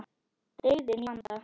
Byggðin í vanda.